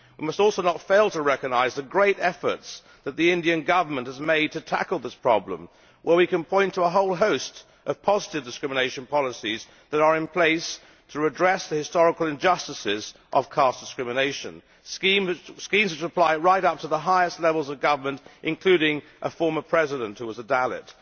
We must also not fail to recognise the great efforts that the Indian Government has made to tackle this problem, where we can point to a whole host of positive discrimination policies that are in place to address the historical injustices of caste discrimination, schemes which apply right up to the highest levels of government, including a former President who was a Dalit.